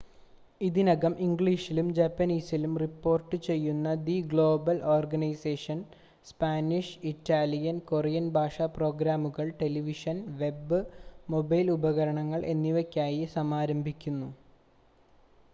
ഇതിനകം ഇംഗ്ലീഷിലും ജാപ്പനീസിലും റിപ്പോർട്ടുചെയ്യുന്ന the global organisation Spanish Italian Korean ഭാഷാ പ്രോഗ്രാമുകൾ ടെലിവിഷൻ വെബ് മൊബൈൽ ഉപകരണങ്ങൾ എന്നിവയ്ക്കായി സമാരംഭിക്കുന്നു